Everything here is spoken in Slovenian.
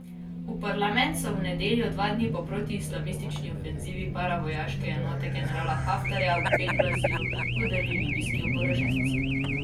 V parlament so v nedeljo, dva dni po protiislamistični ofenzivi paravojaške enote generala Haftarja v Bengaziju, vdrli libijski oboroženci.